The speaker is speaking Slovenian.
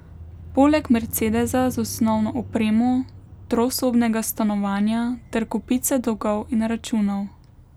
Poleg mercedesa z osnovno opremo, trosobnega stanovanja ter kopice dolgov in računov.